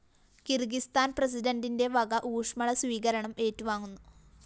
കിര്‍ഗിസ്ഥാന്‍ പ്രസിഡന്റിന്റെ വക ഊഷ്മള സ്വീകരണം ഏറ്റുവാങ്ങുന്നു